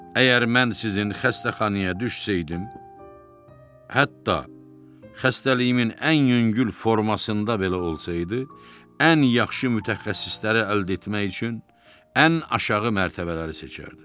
Əgər mən sizin xəstəxanaya düşsəydim, hətta xəstəliyimin ən yüngül formasında belə olsaydı, ən yaxşı mütəxəssisləri əldə etmək üçün ən aşağı mərtəbələri seçərdim.